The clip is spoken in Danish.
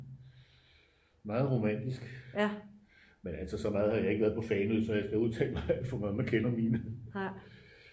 meget romantisk men altså så meget har jeg ikke været på fanø så jeg skal udtale mig alt for meget